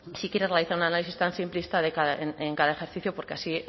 si quiere realizar un análisis tan simplista en cada ejercicio porque así